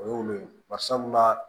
O ye olu ye bari sabula